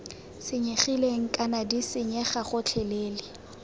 senyegileng kana d senyega gotlhelele